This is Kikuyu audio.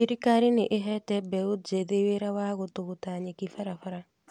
Thirikarĩ nĩ ĩhete Mbeũ njĩthĩ wĩra wa gũtũgũta nyeki barabara